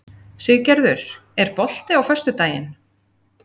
Siggerður, er bolti á föstudaginn?